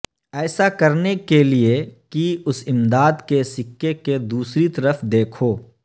ایسا کرنے کے لئے کی اس امداد کے سکے کے دوسری طرف دیکھو